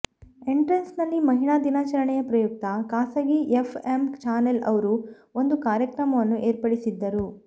entrance ನಲ್ಲಿ ಮಹಿಳಾ ದಿನಚರಣೆಯ ಪ್ರಯುಕ್ತ ಖಾಸಗಿ ಎಫ಼್ ಎಮ್ ಚಾನೆಲ್ ಅವ್ರು ಒಂದು ಕಾರ್ಯಕ್ರಮವನ್ನು ಏರ್ಪಡಿಸಿದ್ದರು